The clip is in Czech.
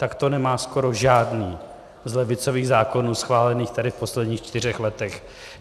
Tak to nemá skoro žádný z levicových zákonů schválených tady v posledních čtyřech letech.